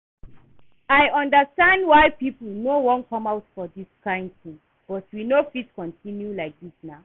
I understand why people no wan come out for dis kyn thing but we no fit continue like dis nah